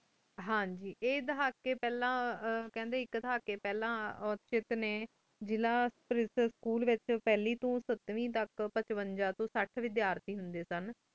ਹਨ ਜੀ ਆਯ ਹਾਸ ਕੀ ਫਲਾਂ ਕਾਂਡੀ ਆਇਕ ਤਹਾ ਕੀ ਫਲਾਂ ਓਚ੍ਤ ਨੀ ਜ਼ਿਲਾ ਆਇਕ ਸਕੂਲ ਵੇਚ ਪੰਜ੍ਵੇਈ ਤੂੰ ਸਾਤਵੇੰ ਤਕ ਪ੍ਚ੍ਵੇਂਜਾ ਤੂੰ ਸਾਥ੍ਵੇਦ੍ਯਾਲ ਟੀ ਹੁੰਦੀ ਸਨ